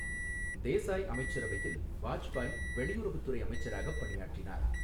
தேசாய் அமைச்சரவையில் வாஜ்பாய் வெளியுறவுத் துறை அமைச்சராகப் பணியாற்றினார்.